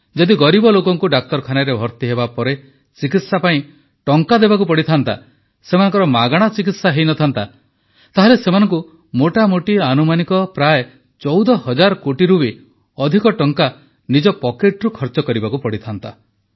ଯଦି ଗରିବ ଲୋକଙ୍କୁ ଡାକ୍ତରଖାନାରେ ଭର୍ତ୍ତି ହେବାପରେ ଚିକିତ୍ସା ପାଇଁ ଟଙ୍କା ଦେବାକୁ ପଡ଼ିଥାନ୍ତା ସେମାନଙ୍କର ମାଗଣା ଚିକିତ୍ସା ହୋଇନଥାନ୍ତା ତେବେ ସେମାନଙ୍କୁ ମୋଟାମୋଟି ଆନୁମାନିକ ପ୍ରାୟ 14 ହଜାର କୋଟିରୁ ବି ଅଧିକ ଟଙ୍କା ନିଜ ପକେଟରୁ ଖର୍ଚ୍ଚ କରିବାକୁ ପଡ଼ିଥାନ୍ତା